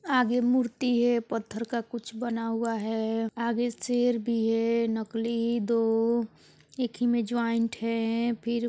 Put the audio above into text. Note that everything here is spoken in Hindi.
आगे मूर्ति है पत्थर का कुछ बना हुआ है आगे शेर भी है नकली दो एक ही में जॉइंट है फिर --